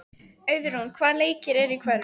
Auðrún, hvaða leikir eru í kvöld?